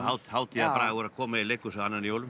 hátíðarbragur að koma í leikhús annan í jólum